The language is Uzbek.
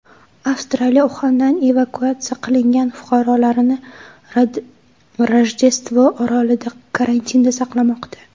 Avstraliya Uxandan evakuatsiya qilingan fuqarolarini Rojdestvo orolida karantinda saqlamoqda.